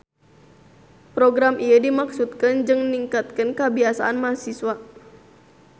Program ieu dimaksudkeun jang ningkatkeun kabisaan mahasiswa